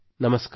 ನಮಸ್ಕಾರ